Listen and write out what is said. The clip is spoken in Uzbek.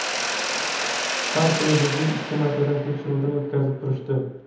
Har kuni bizni ikki martadan tekshiruvdan o‘tkazib turishdi.